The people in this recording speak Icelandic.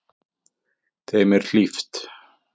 Þeim er hlíft.